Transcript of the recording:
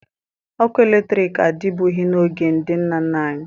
Ọkụ eletriki adịbughi n'oge ndị nna nna anyị